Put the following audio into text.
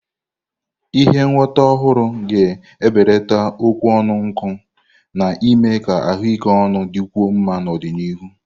Ihe ngwọta ọhụrụ ga-ebelata okwu ọnụ nkụ, na-eme ka ahụike ọnụ dịkwuo mma n'ọdịnihu.